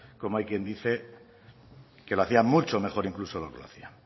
como hay quien dice que lo hacía mucho mejor incluso de lo que lo hacía